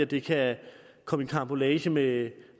det kan komme i karambolage med